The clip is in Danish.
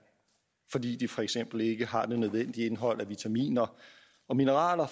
fordi de for eksempel ikke har de nødvendige indhold af vitaminer og mineraler